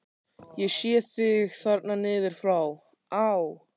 Ég sé þig þarna niður frá: á